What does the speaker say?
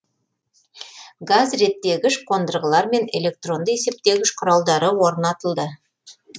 газ реттегіш қондырғылар мен электронды есептегіш құралдары орнатылды